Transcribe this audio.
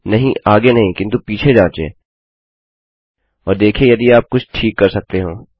नहींआगे नहीं किन्तु पीछे जाँचें और देखिये यदि आप कुछ ठीक कर सकते हो